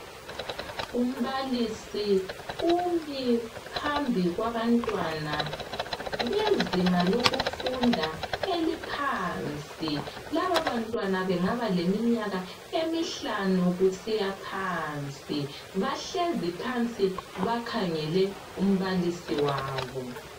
umbalisi umi phambi kwabantwana bezinga lokufunda eliphansi laba bantwana bangaba leminyaka emihlanu kusiya phansi bahlezi phansi bakhangele umbalisi wabo